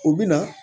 U bɛ na